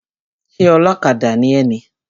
Ṣé ọlọ́kadà ni ẹ ni?